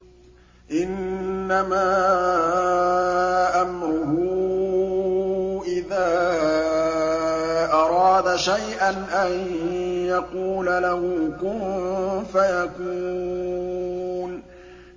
إِنَّمَا أَمْرُهُ إِذَا أَرَادَ شَيْئًا أَن يَقُولَ لَهُ كُن فَيَكُونُ